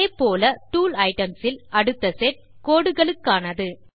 இதே போல் tool items இல் அடுத்த செட் கோடுகளுக்கானது